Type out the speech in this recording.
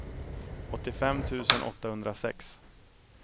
åttiofem tusen åttahundrasex